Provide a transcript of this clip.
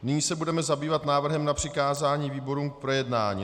Nyní se budeme zabývat návrhem na přikázání výborům k projednání.